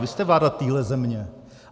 Vy jste vláda téhle země.